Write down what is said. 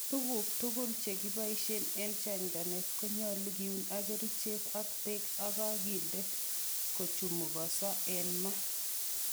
Tuguk tugul chekiboishen en chanchanet konyolu kiun ak kerichek ak beek che kakinde kochumogoso en maa.